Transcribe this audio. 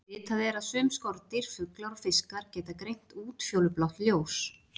Vitað er að sum skordýr, fuglar og fiskar geta greint útfjólublátt ljós.